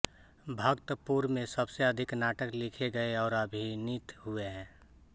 भक्तपुर में सबसे अधिक नाटक लिखे गए और अभिनीत हुए